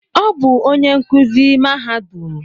Ọ bu onyé nkụzi mahadum